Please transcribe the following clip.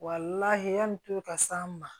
yanni tulu ka s'an ma